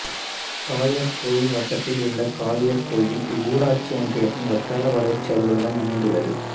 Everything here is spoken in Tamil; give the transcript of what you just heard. காளையார்காேயில் வட்டத்தில் உள்ள காளையர்கோயிலில் இவ்வூராட்சி ஒன்றியத்தின் வட்டார வளர்ச்சி அலுவலகம் அமைந்துள்ளது